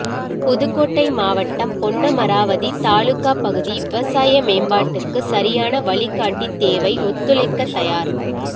புதுக்கோட்டை மாவட்டம் பொன்னமராவதி தாலுகா பகுதி விவசாய மேம்பாட்டுக்கு சரியான வழிகாட்டி தேவை ஒத்துழைக்க தயார்